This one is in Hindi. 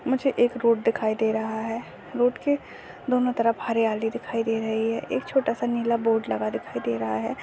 मुझे एक रोड दिखाई दे रहा है रोड के दोनों तरफ हरियाली दिखाई दे रही है एक छोटा सा नीला बोर्ड लगा दिखाई दे रहा है।